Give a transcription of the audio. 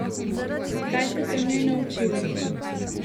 Kaj ste se v njej naučili?